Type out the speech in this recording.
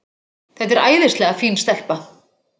Þetta er æðislega fín stelpa.